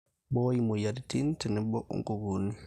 Mbooi imoiarirrin otenebo nkukunik.